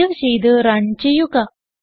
save ചെയ്ത് run ചെയ്യുക